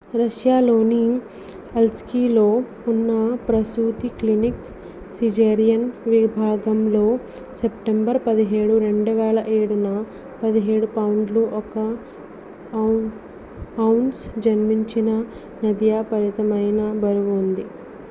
రష్యాలోని అలీస్క్లో ఉన్న ప్రసూతి క్లినిక్ సిజేరియన్ విభాగంలో సెప్టెంబర్ 17 2007న 17 పౌండ్లు 1 ఔన్స్ జన్మించిన నదియా విపరీతమైన బరువు ఉంది